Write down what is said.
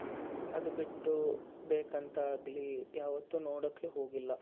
ಅದು ಬಿಟ್ಟು ಬೆಕಂತಾಗ್ಲಿ ಯಾವತ್ತೂ ನೋಡಾಕೆ ಹೋಗಿಲ್ಲ.